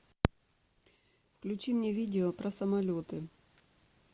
включи мне видео про самолеты